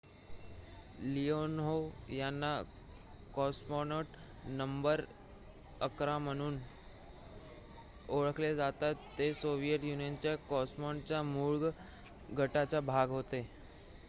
Leonov यांना ''cosmonaut number ११'' म्हणूनही ओळखले जाते ते सोव्हिएट युनियनच्या कॉस्मॉनॉटच्या मूळ गटाचा भाग होते